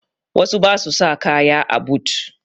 Wasu ba su sa kaya a but